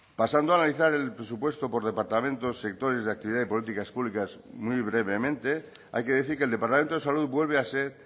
pasando a analizar el presupuesto por departamentos sectores de actividad y políticas públicas muy brevemente hay que decir que el departamento de salud vuelve a ser